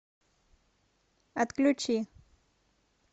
отключи